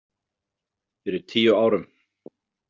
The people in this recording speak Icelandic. Fyrir tíu árum.